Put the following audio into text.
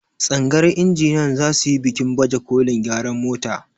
tsagayar injiniyan za su yi bikin bajekolin gyaran mota